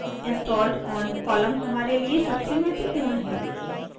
installed on column हमारे लिए सबसे महत्वपूर्ण है